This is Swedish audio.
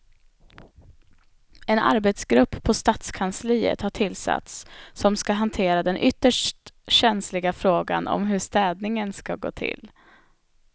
En arbetsgrupp på stadskansliet har tillsatts som ska hantera den ytterst känsliga frågan om hur städningen ska gå till.